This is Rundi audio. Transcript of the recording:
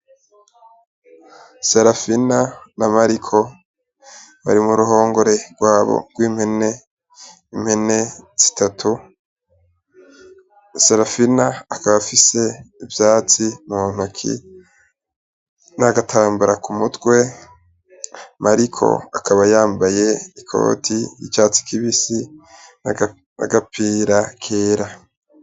Serafina na Mariko bari mu ruhongore rwabo rw'impene, impene zitatu. Serafina akaba afise ivyatsi mu ntoke n'agatambara ku mutwe. Mariko akaba yambaye ikoti y'icatsi kibisi, n'agapira kera.